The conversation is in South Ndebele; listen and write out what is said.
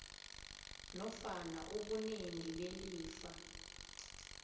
nofana ubunengi belifa